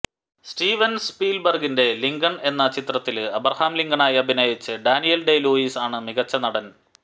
Stevens സ്പീല്ബര്ഗിന്റെ Lincoln എന്ന ചിത്രത്തില് അബ്രഹാം ലിങ്കണായി അഭിനയിച്ച് ഡാനിയല് ഡേ ലൂയിസ് ആണ് മികച്ച നടന്